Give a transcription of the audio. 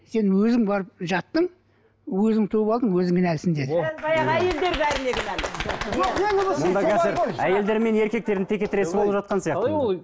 сен өзің барып жаттың өзің туып алдың өзің кінәлісің деді мұнда қазір әйелдер мен еркектердің текетіресі болып жатқан сияқты